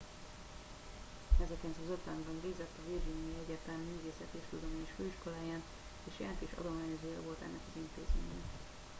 1950 ben végzett a virginiai egyetem művészeti és tudományos főiskoláján és jelentős adományozója volt ennek az intézménynek